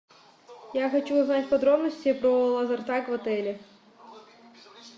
я хочу узнать подробности про лазертаг в отеле